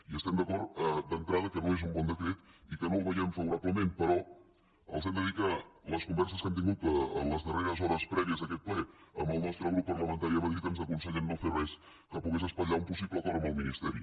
i estem d’acord d’entrada que no és un bon decret i que no el veiem favorablement però els hem de dir que les converses que hem tingut en les darreres hores prèvies a aquest ple amb el nostre grup parlamentari a madrid ens aconsellen no fer res que pogués espatllar un possible acord amb el ministeri